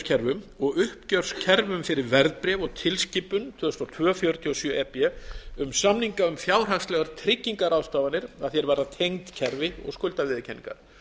greiðsluuppgjörskerfum og uppgjörskerfum fyrir verðbréf og tilskipun tvö þúsund og tveir fjörutíu og sjö e b um samninga um fjárhagslegar tryggingarráðstafanir að því er varðar tengd kerfi og skuldaviðurkenningar